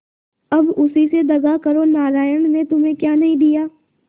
अब उसी से दगा करो नारायण ने तुम्हें क्या नहीं दिया